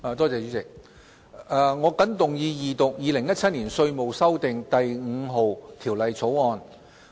我謹動議二讀《2017年稅務條例草案》。